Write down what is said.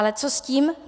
Ale co s tím?